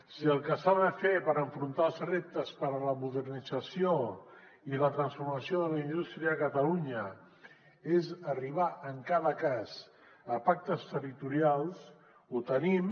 si el que s’ha de fer per afrontar els reptes per a la modernització i la transformació de la indústria a catalunya és arribar en cada cas a pactes territorials ho tenim